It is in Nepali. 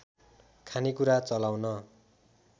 खानेकुरा चलाउन